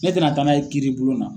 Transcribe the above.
Ne tɛ na taa n' ye kiiri bulon na.